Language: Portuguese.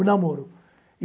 O namoro.